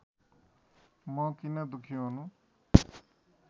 म किन दुःखी हुनु